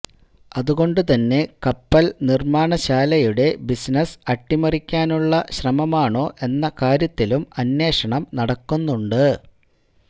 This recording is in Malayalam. അതുകൊണ്ടു തന്നെ കപ്പൽ നിർമ്മാണശാലയുടെ ബിസിനസ് അട്ടിമറിക്കാനുള്ള ശ്രമമാണോ എന്ന കാര്യത്തിലും അന്വേഷണം നടക്കുന്നുണ്ട്